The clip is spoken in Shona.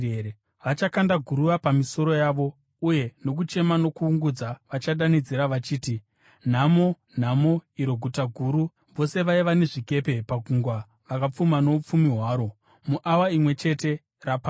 Vachakanda guruva pamisoro yavo, uye nokuchema nokuungudza vachadanidzira vachiti: “ ‘Nhamo! Nhamo, iro guta guru, vose vaiva nezvikepe pagungwa vakapfuma noupfumi hwaro! Muawa imwe chete, raparara!